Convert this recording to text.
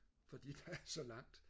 fordi der er så langt